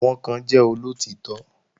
Àwọn kan jẹ́ olóòtítọ́